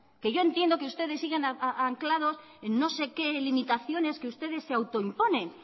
que yo entiendo que ustedes sigan anclados en no sé qué limitaciones que ustedes se autoimponen